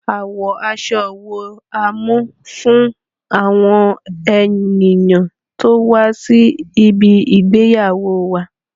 Àwo aṣọ wó a máa mú fún àwọn ènìyàn tí ó máa wá sí ibi ìgbéyàwóo wá?